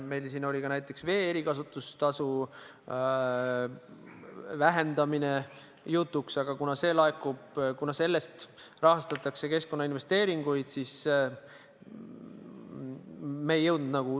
Meil oli jutuks näiteks ka vee erikasutuse tasu vähendamine, aga kuna sellest rahastatakse keskkonnainvesteeringuid, siis me tegudeni ei jõudnud.